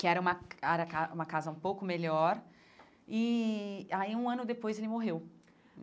que era uma uma casa um pouco melhor, e aí, um ano depois, ele morreu.